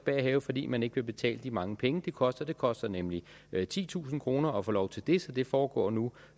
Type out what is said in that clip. have fordi man ikke vil betale de mange penge det koster det koster nemlig titusind kroner at få lov til det så det foregår nu